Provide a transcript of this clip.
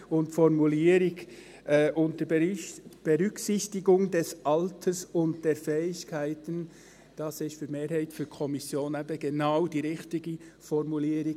Die Formulierung «unter Berücksichtigung des Alters und der Fähigkeiten» ist für die Mehrheit der Kommission eben genau die richtige Formulierung.